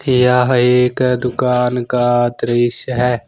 यह एक दुकान का दृश्य है।